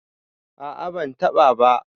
a a ban taba ba